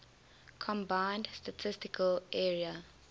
combined statistical area